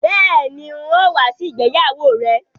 Bẹ́ẹ̀ni, n ó wá sí ìgbéyàwó rẹ